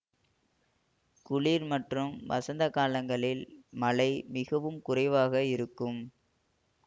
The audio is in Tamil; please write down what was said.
குளிர் மற்றும் வசந்த காலங்களில் மழை மிகவும் குறைவாக இருக்கும்